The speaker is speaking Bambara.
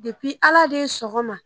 depi ala de sɔgɔma